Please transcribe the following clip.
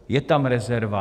Je tam rezerva?